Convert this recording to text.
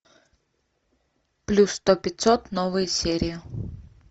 плюс сто пятьсот новые серии